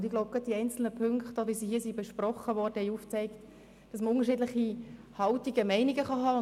Ich denke, die einzelnen Punkte, die besprochen wurden, haben aufgezeigt, dass man unterschiedliche Meinungen vertreten kann.